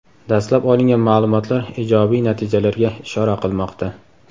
Dastlab olingan ma’lumotlar ijobiy natijalarga ishora qilmoqda.